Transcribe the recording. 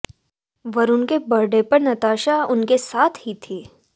वरुण के बर्थडे पर नताशा उनके साथ ही थी